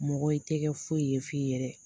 Mɔgɔ i tɛ kɛ foyi ye f'i yɛrɛ.